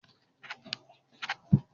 Ṣé o máa ṣe àjọyọ̀ ìjáwé olùborí ìbò rẹ pẹ̀lú mi?